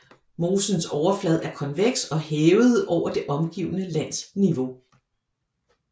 Mosens overflade er konveks og hævet over det omgivende lands niveau